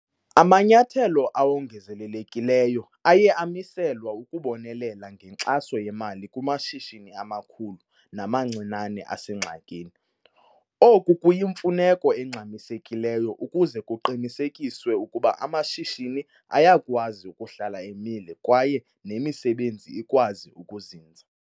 Amanyathelo awongezelelekileyo aye amiselwa ukubonelela ngenkxaso yemali kumashishini amakhulu namancinane asengxakini. Oku kuyimfuneko engxamisekileyo ukuze kuqinisekiswe ukuba amashishini ayakwazi ukuhlala emile kwaye nemisebenzi ikwazi ukuzinza.